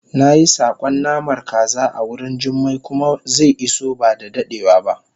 nayi sakon namar kaza awurin jummai kuma ze iso bada dadewa ba